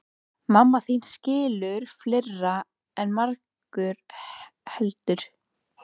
Mamma þín skilur fleira en margur heldur.